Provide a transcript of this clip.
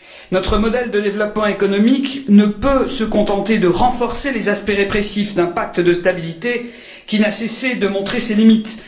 Notre modèle de développement économique ne peut se contenter de renforcer les aspects répressifs d'un pacte de stabilité qui n'a cessé de montrer ses limites.